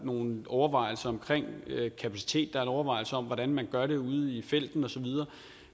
nogle overvejelser om kapacitet og en overvejelse om hvordan man gør det ude i felten osv